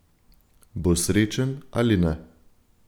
Bo srečen ali ne?